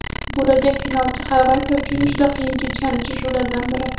Bo‘lajak finalchi Xorvatiya uchun juda qiyin kechgan uchrashuvlardan biri.